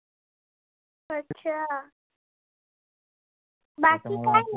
अच्छा बाकी काय?